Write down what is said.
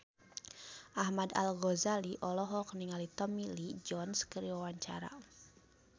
Ahmad Al-Ghazali olohok ningali Tommy Lee Jones keur diwawancara